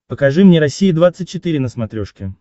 покажи мне россия двадцать четыре на смотрешке